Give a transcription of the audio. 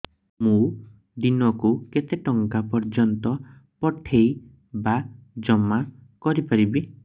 ମୁ ଦିନକୁ କେତେ ଟଙ୍କା ପର୍ଯ୍ୟନ୍ତ ପଠେଇ ବା ଜମା କରି ପାରିବି